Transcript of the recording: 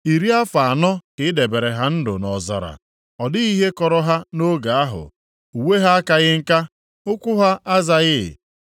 Iri afọ anọ ka i debere ha ndụ nʼọzara. Ọ dịghị ihe kọrọ ha nʼoge ahụ. Uwe ha akaghị nka, ukwu ha azaghị.